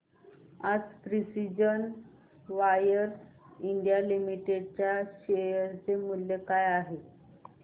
आज Precision Wires India Limited च्या share चे मूल्य काय आहे